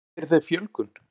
Sérðu fyrir þér fjölgun?